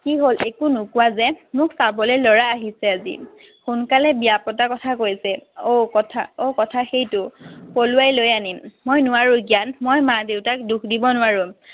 কি হ'ল? একো নোকোৱা যে? মোক চাবলৈ লৰা আহিছে আজি। সোনকালে বিয়া পতা কথা কৈছে। অও কথা অও কথা সেইটো? পলুৱাই লৈ আনিম। মই নোৱাৰো জ্ঞান। মই মা দেউতাক দুখ দিব নোৱাৰো।